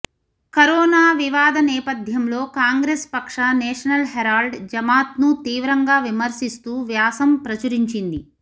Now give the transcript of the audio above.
corona వివాద నేపథ్యంలో కాంగ్రెస్ పక్ష నేషనల్ హెరాల్డ్ జమాత్ను తీవ్రంగా విమర్శిస్తూ వ్యాసం ప్రచురించింది